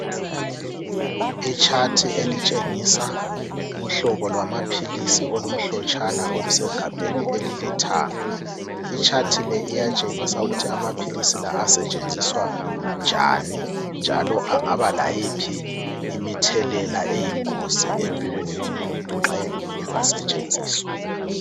Chart elitshengisa uhlobo lwamapills olumhlotshana olusegabheni elilithanga ichart leli liyatshengisa ukuthi amapills asetshenziswa njani angaba layiphi imithelela eyingozi nxa engasetsgenziswa